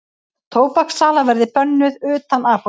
Tóbakssala verði bönnuð utan apóteka